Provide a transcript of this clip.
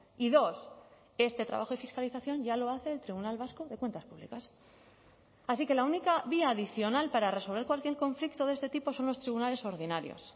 y dos este trabajo y fiscalización ya lo hace el tribunal vasco de cuentas públicas así que la única vía adicional para resolver cualquier conflicto de este tipo son los tribunales ordinarios